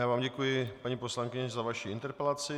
Já vám děkuji, paní poslankyně, za vaši interpelaci.